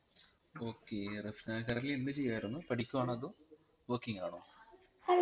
okay Rafna currently എന്തുചെയ്‌യായിരുന്നു പഠിക്കുവാണോ അതോ working ആണോ